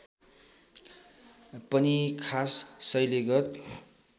पनि खास शैलीगत